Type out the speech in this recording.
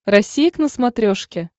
россия к на смотрешке